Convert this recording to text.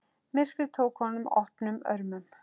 Myrkrið tók honum opnum örmum.